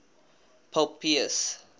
pope pius